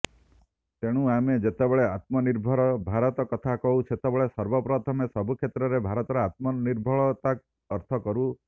ତେଣୁ ଆମେ ଯେତେବେଳେ ଆତ୍ମନିର୍ଭର ଭାରତ କଥା କହୁ ସେତେବେଳେ ସର୍ବପ୍ରଥମେ ସବୁକ୍ଷେତ୍ରରେ ଭାରତର ଆତ୍ମନିର୍ଭରତାକୁ ଅର୍ଥ କରୁ